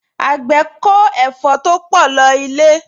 Àgbẹ̀ kó ẹ̀fọ́ to pọ̀ lọ ilé